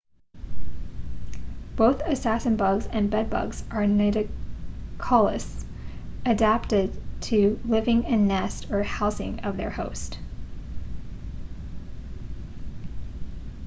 both assassin-bugs and bed-bugs are nidicolous adapted to living in nest or housing of their host